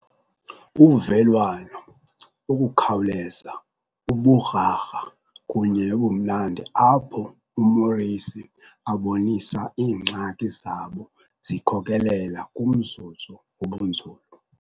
Uvelwano, ukukhawuleza, uburharha kunye nobumnandi apho uMorrissy abonisa iingxaki zabo zikhokelela kumzuzu wobunzulu.